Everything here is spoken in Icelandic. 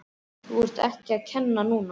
Þú ert ekki að kenna núna!